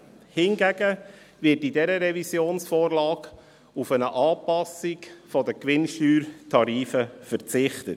Hingegen wird in dieser Revisionsvorlage auf eine Anpassung der Gewinnsteuertarife verzichtet.